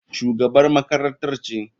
Shugabar makarantar ce.